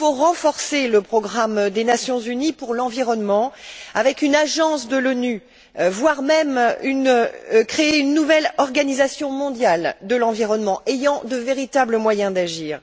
il faut renforcer le Programme des Nations unies pour l'environnement par une agence de l'ONU, voire, créer une nouvelle organisation mondiale de l'environnement ayant de véritables moyens d'agir.